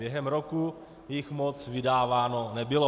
Během roku jich moc vydáváno nebylo.